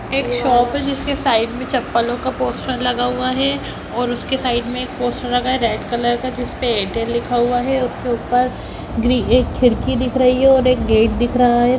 एक शॉप है जिसके साइड में चप्पलों का पोस्टर लगा हुआ हैं और उसके साइड में एक पोस्टर लगा है रेड कलर का जिसपे एयरटेल लिखा हुआ है उसके ऊपर गृ एक खिड़की दिख रही है और एक गेट दिख रहा है।